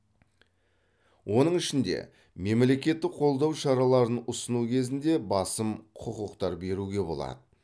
оның ішінде мемлекеттік қолдау шараларын ұсыну кезінде басым құқықтар беруге болады